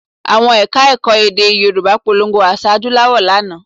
Àwọn Ẹ̀ka-ẹ̀kọ́ èdè Yorùbá polongo àṣà adúláwò lánàá